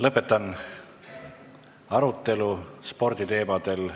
Lõpetan arutelu sporditeemadel.